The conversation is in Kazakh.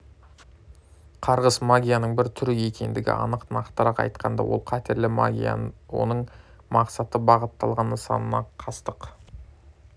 қарғыс магияның бір түрі екендігі анық нақтырақ айтқанда ол қатерлі магия оның мақсаты бағытталған нысанына қастық